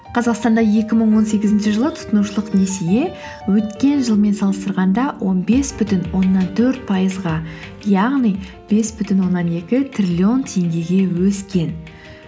қазақстанда екі мың он сегізінші жылы тұтынушылық несие өткен жылмен салыстырғанда он бес бүтін оннан төрт пайызға яғни бес бүтін оннан екі триллион теңгеге өскен